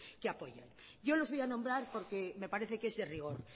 que apoyan yo los voy a nombrar porque me parece que es de rigor